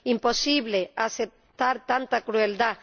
Es imposible aceptar tanta crueldad.